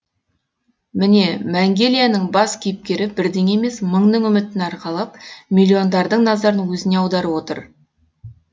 міне мәңгелияның бас кейіпкері бірдің емес мыңның үмітін арқалап миллиондардың назарын өзіне аударып отыр